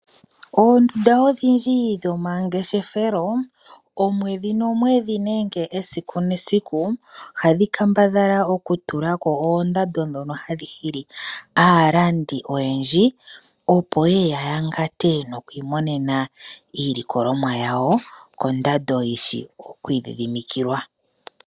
Oondunda odhindji dhomangeshefelo, omwedhi nomwedhi nenge esiku nesiku oha dhi kambadhala oku tula ko oondando dhono hadhi hili aalandi oyendji, opo yeye ya yangate nokwiimonena iilikolomwa yawo kondando yi shi okwii dhidhimikilwa.